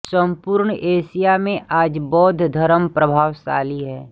संपूर्ण एशिया में आज बौद्ध धर्म प्रभावशाली है